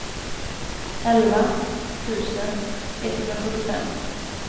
elva tusen etthundrasjuttiofem